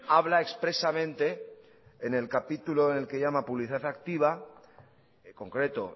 habla expresamente en el capítulo en el que llama publicidad activa en concreto